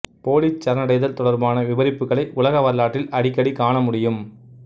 போலிச் சரணடைதல் தொடர்பான விபரிப்புக்களை உலக வரலாற்றில் அடிக்கடி காண முடியும்